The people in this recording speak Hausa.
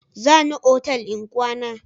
Za ni otal in kwana.